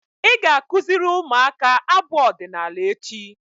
Ị ga-akụziri ụmụaka abụ ọdịnaala echi!